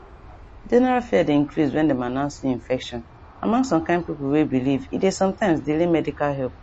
general fear dey increase when dem announce new infection among some kind pipo way believe e dey some times delay medical help